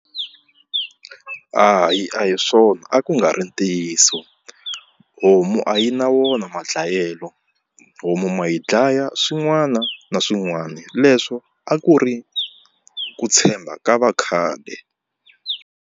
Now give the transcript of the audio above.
Hayi a hi swona a ku nga ri ntiyiso homu a yi na wona madlayelo homu ma yi dlaya swin'wana na swin'wana leswo a ku ri ku tshemba ka vakhale.